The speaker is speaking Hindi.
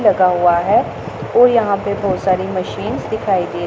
लगा हुआ है और यहां पे बहुत सारी मशीन्स दिखाई दे--